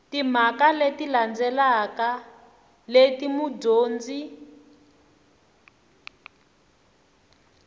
timhaka leti landzelaka leti mudyondzi